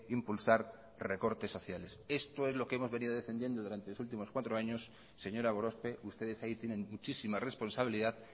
impulsar recortes sociales esto es lo que hemos venido defendiendo durante los últimos cuatro años señora gorospe ustedes ahí tienen muchísima responsabilidad